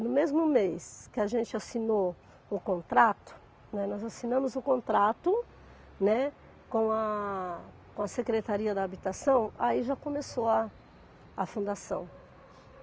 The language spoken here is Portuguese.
No mesmo mês que a gente assinou o contrato, né, nós assinamos o contrato, né, com a com a Secretaria da Habitação, aí já começou a a fundação.